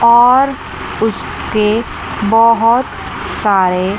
और उसके बहोत सारे--